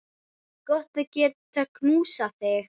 Gott að geta knúsað þig.